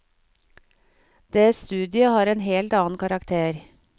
Det studiet har en helt annen karakter.